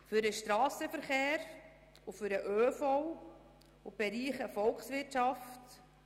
Für den Strassenverkehr, den ÖV und die Volkswirtschaft.